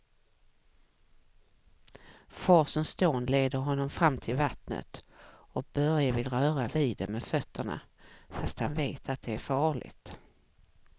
Forsens dån leder honom fram till vattnet och Börje vill röra vid det med fötterna, fast han vet att det är farligt.